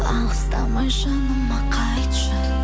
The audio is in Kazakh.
алыстамай жаныма қайтшы